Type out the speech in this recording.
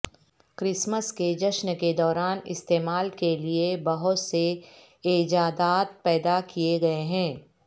Christmas کے جشن کے دوران استعمال کے لئے بہت سے ایجادات پیدا کیے گئے ہیں